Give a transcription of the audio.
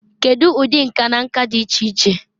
Kedu ụdị nka na nka dị iche iche?